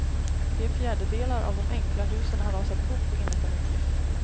Tre fjärdedelar av de enkla husen har rasat ihop, enligt en uppgift.